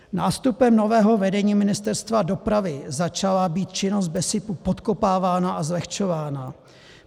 Nástupem nového vedení Ministerstva dopravy začala být činnost BESIPu podkopávána a zlehčována.